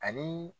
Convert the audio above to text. Ani